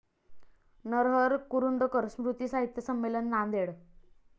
नरहर कुरुंदकर स्मृती साहित्य संमेलन, नांदेड